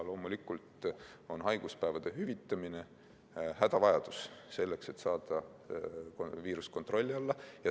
Loomulikult on haiguspäevade hüvitamine hädavajalik selleks, et saada viirus kontrolli alla.